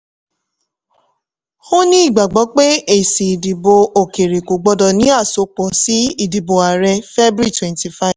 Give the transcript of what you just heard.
ó ní ìgbàgbọ́ pé èsì ìdìbò òkèèrè kò gbọdọ̀ ní àsopọ̀ sí ìdìbò ààrẹ february twenty five.